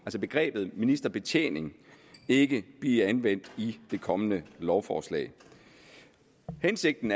begrebet ministerbetjening ikke blive anvendt i det kommende lovforslag hensigten